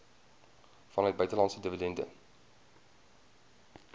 vanuit buitelandse dividende